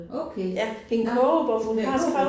Okay, nåh, spændende